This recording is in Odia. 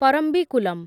ପରମ୍ବିକୁଲମ୍